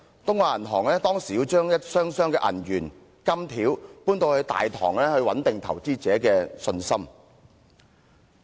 東亞銀行當時要將一箱箱銀元和金條搬到大堂，以穩定投資者的信心。